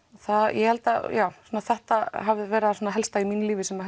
ég held að þetta hafi verið það helsta í mínu lífi sem